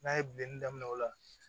N'a ye bilen daminɛ o la